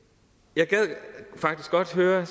jeg gad faktisk godt høre